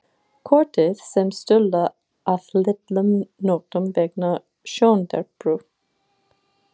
Kortið kom Stulla að litlum notum vegna sjóndepru.